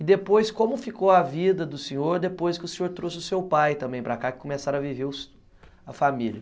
E depois, como ficou a vida do senhor, depois que o senhor trouxe o seu pai também para cá, que começaram a viver a família?